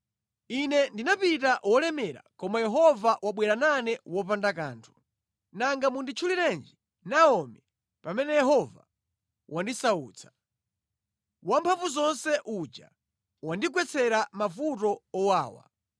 Ine ndinapita wolemera, koma Yehova wabwera nane wopanda kanthu. Nanga munditchulirenji Naomi pamene Yehova wandisautsa. Wamphamvuzonse uja wandigwetsera mavuto owawa.”